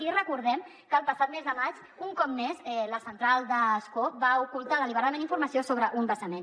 i recordem que el passat mes de maig un cop més la central d’ascó va ocultar deliberadament informació sobre un vessament